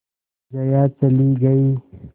जया चली गई